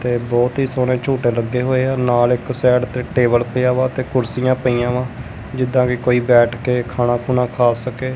ਤੇ ਬਹੁਤ ਹੀ ਸੋਹਣੇ ਝੂਟੇ ਲੱਗੇ ਹੋਏ ਆ ਨਾਲ ਇੱਕ ਸਾਈਡ ਤੇ ਟੇਬਲ ਪਿਆ ਵਾ ਤੇ ਕੁਰਸੀਆਂ ਪਈਆਂ ਵਾ ਜਿੱਦਾਂ ਕਿ ਕੋਈ ਬੈਠ ਕੇ ਖਾਣਾ ਖੂਣਾ ਖਾ ਸਕੇ।